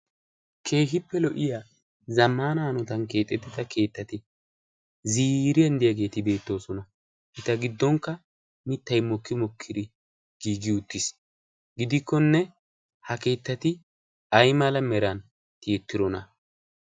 keehippe lo'iya zammana anotan keexettida keettati ziriyanddiyaageeti beettoosona. eta giddonkka mittay mokki mokkiri giigi uttiis. gidikkonne ha keettati ay mala meran tiyettirona?